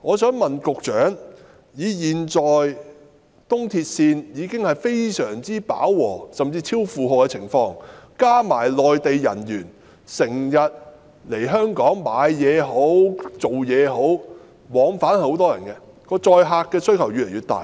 現時東鐵線已經非常飽和，甚至出現超負荷的情況，加上內地人經常來港購物或工作，每天有很多人往返，東鐵線載客需求越來越大。